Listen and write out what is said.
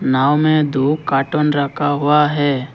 नाव में दो कार्टून रखा हुआ है।